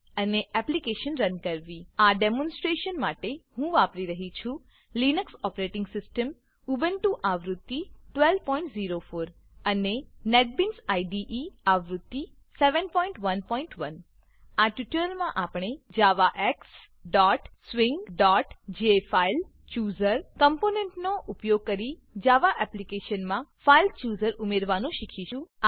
અને application run કરવી આ ડેમોનસ્ટ્રેશન માટે હું વાપરી રહ્યી છું લિનક્સ ઓપેરેટીંગ સીસ્ટમ ઉબુન્ટુ આવૃત્તિ 1204 અને નેટબીન્સ આઈડીઈ આવૃત્તિ 711 આ ટ્યુટોરીયલમાં આપણે javaxswingજેફાઇલચૂઝર કમ્પોનેંટનો ઉપયોગ કરી જાવા એપ્લીકેશનમાં ફાઇલ ચૂઝર ફાઈલ ચુઝર ઉમેરવાનું શીખીશું